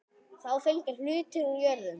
Þá fylgja hlutir úr jörðum.